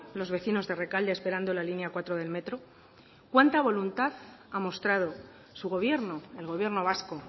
los vecinos de rekalde esperando la línea cuatro del metro cuánta voluntad ha mostrado su gobierno el gobierno vasco